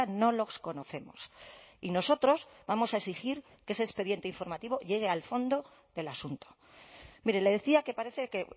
no los conocemos y nosotros vamos a exigir que ese expediente informativo llegue al fondo del asunto mire le decía que parece que